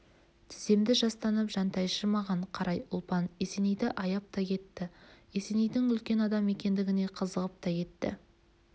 тіземді жастанып жантайшы маған қарай ұлпан есенейді аяп та кетті есенейдің үлкен адам екендігіне қызығып та кетті